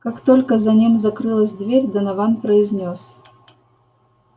как только за ним закрылась дверь донован произнёс